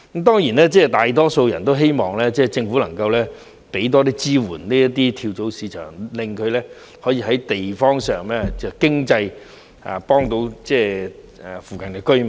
當然，大多數人都希望政府能夠為這些跳蚤市場提供更多支援，令它們可以在有關地方於經濟方面幫到附近的居民。